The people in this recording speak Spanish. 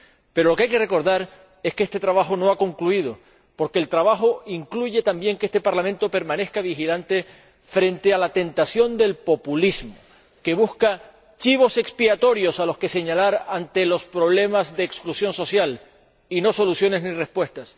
Pero lo que hay que recordar es que este trabajo no ha concluido, porque el trabajo incluye también que este Parlamento permanezca vigilante frente a la tentación del populismo, que busca chivos expiatorios a los que señalar ante los problemas de exclusión social, y no soluciones ni respuestas.